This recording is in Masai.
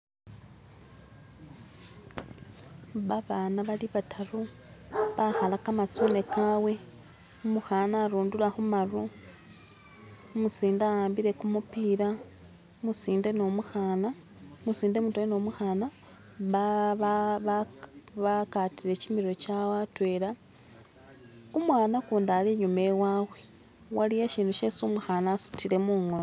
babaana bali bataru bahala kamatsune kawe umuhana arundura khumaru umusinde awambile kumupila umusinde mutwela numuhana bakatile kyimirwe kyawe atwela umwana kundi ali inyuma iwawe waliyo ishundu isi umuhana asutile mungono